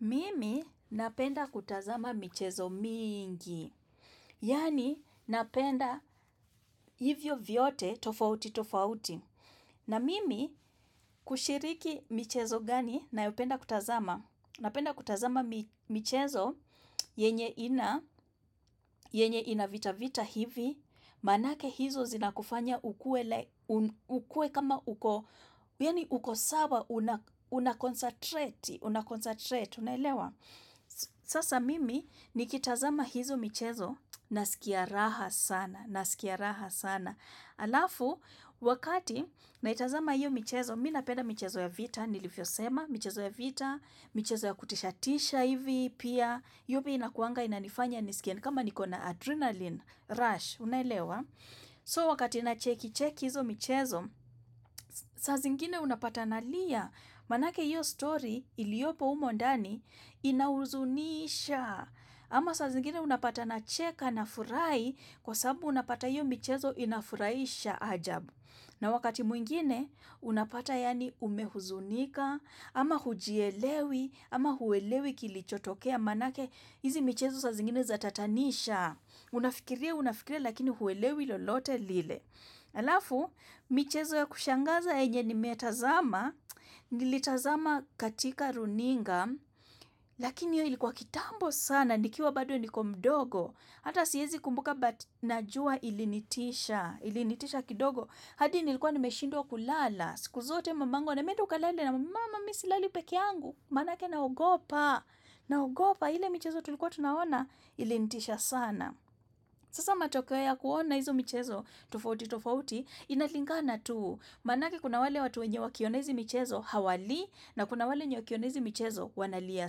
Mimi napenda kutazama michezo mingi, yaani napenda hivyo vyote tofauti tofauti, na mimi kushiriki michezo gani nayopenda kutazama, napenda kutazama michezo yenye ina, yenye ina vita vita hivi, manake hizo zinakufanya uku ele, ukue kama uko, yani uko sawa unaconcentrate, unaconcertrate, unaelewa. Sasa mimi ni kitazama hizo michezo naskia raha sana Naskia raha sana Alafu, wakati naitazama hiyo michezo Mimi napenda michezo ya vita, nilivyosema michezo ya vita, michezo ya kutishatisha hivi Pia, yobi inakuanga inanifanya nisikia kama nikona adrenalin, rush, unaelewa So wakati na cheki cheki hizo michezo saa zingine unapata nalia Manake hiyo story iliopo humo ndani Inauhuzunisha ama saa zingine unapata na cheka na furahi Kwa sababu napata hiyo michezo inafuraisha ajabu na wakati mwingine unapata yaani umehuzunika ama hujielewi ama huelewi kilichotokea manake hizi michezo saa zingine zatatanisha Unafikiria unafikiria lakini huwelewi lolote lile Alafu michezo ya kushangaza yenye nimetazama Nilitazama katika runinga Lakini hiyo ilikuwa kitambo sana Nikiwa bado nikiwa mdogo Hata siwezi kumbuka but Najua ilinitisha Ilinitisha kidogo hadi nilikuwa nimeshindwa kulala siku zote mamangu ananiambia enda ukalale na mama mi silali peke yangu Manake naogopa gopa ile mchezo tulikuwa tunaona Ilinitisha sana Sasa matokeo ya kuona hizo mchezo tofauti tofauti Inalingana tu Manake kuna wale watu wenye wakiona hizi mchezo Hawalii na kuna wale wakiona hizi mchezo wanalia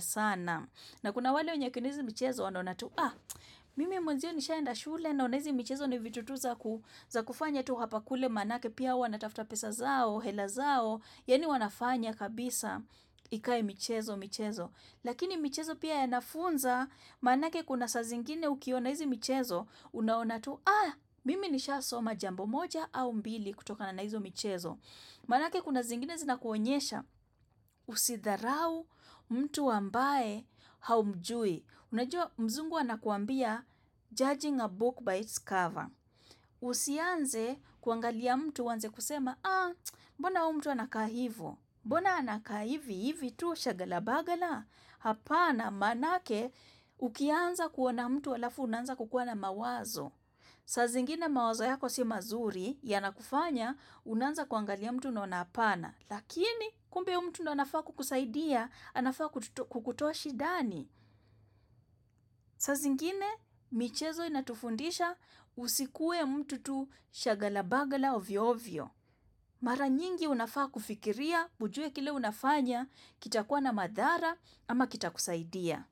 sana. Na kuna wale wakiona hizi mchezo wanaona tu mimi mwenzio nisha enda shule na unaizi mchezo ni vitu tu za za kufanya tu hapa kule manake pia wanatafuta pesa zao, hela zao yaani wanafanya kabisa ikae mchezo mchezo lakini mchezo pia yanafunza manake kuna sa zingine ukiona hizi mchezo unaona tu mimi nisha soma jambo moja au mbili kutokana na hizo mchezo manake kuna zingine zina kuonyesha usidharau mtu ambae haumjui Unajua mzungu anakuambia Judging a book by its cover Usianze kuangalia mtu wanzi kusema Ah, mbona umtu anakaa hivi Mbona anakaa hivi hivi tu shagalabagala Hapana manake ukianza kuona mtu alafu unanza kukua na mawazo saa zingine mawazo yako si mazuri Yanakufanya unanza kuangalia mtu unaona hapana Lakini kumbe huyo mtu ndi anafaa kukusaidia anafaa kukutoa shidani saa zingine, michezo inatufundisha Usikue mtu tu shagalabagala ovyo ovyo Mara nyingi unafaa kufikiria ujue kile unafanya Kitakuwa na madhara ama kita kusaidia.